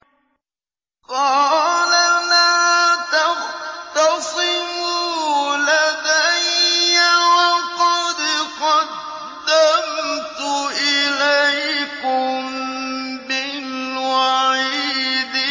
قَالَ لَا تَخْتَصِمُوا لَدَيَّ وَقَدْ قَدَّمْتُ إِلَيْكُم بِالْوَعِيدِ